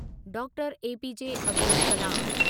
doctor APJ Abdul Kalam